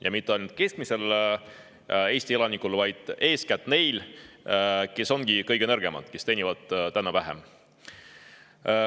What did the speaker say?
Ja mitte ainult keskmise Eesti elaniku elu, vaid eeskätt nende elu, kes ongi kõige nõrgemad, kes teenivad vähem.